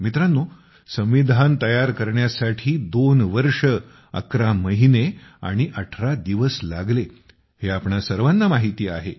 मित्रांनो संविधान तयार करण्यासाठी 2 वर्ष 11 महिने आणि 18 दिवस लागले हे आपणा सर्वांना माहीती आहे